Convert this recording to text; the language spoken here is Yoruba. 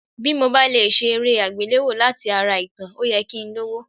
Bí mo bá lè ṣe eré àgbéléwò láti ara ìtàn, ó yẹ kí n lówó.